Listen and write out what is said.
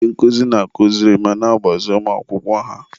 ndị nkụzi na-akụziri ma na-agbaziri ụmụ akwụkwọ ha.